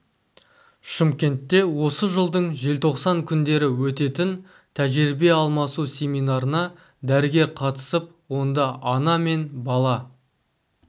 шымкентте осы жылдың желтоқсан күндері өтетін тәжірибе алмасу семинарына дәрігер қатысып онда ана мен бала